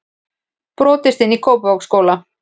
Brotist inn í Kópavogsskóla